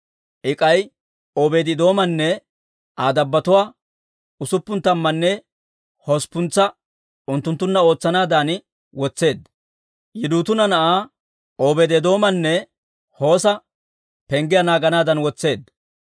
I k'ay Obeedi-Eedoomanne Aa dabbotuwaa usuppun tammanne hosppuntsa unttunttunna ootsanaadan wotseedda; Yidutuuna na'aa Obeedi-Eedoomanne Hoosa penggiyaa naaganaadan wotseedda.